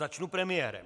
Začnu premiérem.